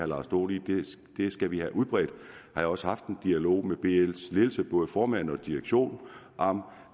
lars dohn i vi skal have udbredt jeg har også haft en dialog med bls ledelse både formand og direktion om